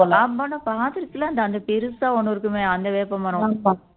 நான்கூட பெருசா ஒண்ணு இருக்குமே அந்த வேப்பமரம்